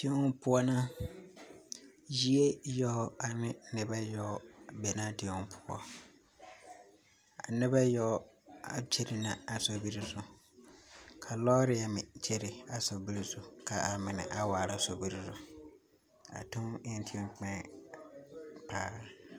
Teŋ poʊ na. Yie yoɔ ane nebɛ yoɔ be na a teŋ poʊ. A nebɛ yoɔ a kyɛrɛ na a sorbir zu. Ka lɔɔre meŋ kyɛrɛ a sorbir zu ka a mene a waar a sorbir zu. A teŋ en teŋ kpiɛŋ paa